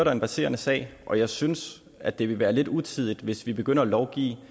er en verserende sag og jeg synes at det vil være lidt utidigt hvis vi begynder at lovgive